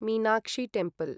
Meenakshi temple